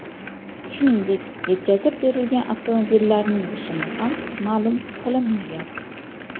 Shuningdek, yetkazib berilgan avtomobillarning rusumi ham ma’lum qilinmagan.